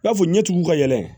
I n'a fɔ ɲɛtigiw ka yɛlɛ